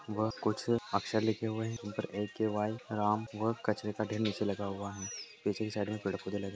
इसके दीवारें ढह चुकी है व कुछ अक्षर लिखे हुए हैं।